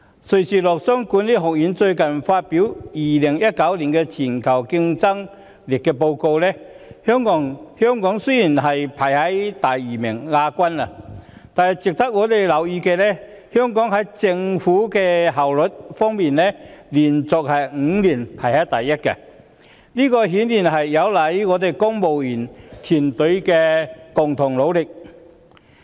瑞士洛桑國際管理發展學院最近發表了 "2019 年全球競爭力報告"，雖然香港是只排名第二，但值得我們留意的是，香港在政府效率方面連續5年排在首位，這顯然有賴公務員團隊的共同努力。